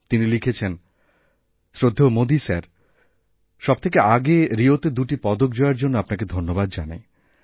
তিনিলিখেছেন শ্রদ্ধেয় মোদী স্যার সব থেকে আগে রিওতে দুটি পদক জয়ের জন্য আপনাকেধন্যবাদ জানাই